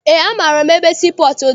Eé, amaara m ebe sii pọọtụ dị.